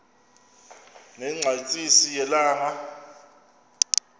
ne ngqatsini yelanga